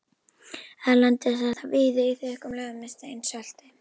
Erlendis er það víða í þykkum lögum með steinsalti.